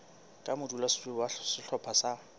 ka modulasetulo wa sehlopha sa